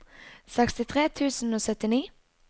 sekstitre tusen og syttini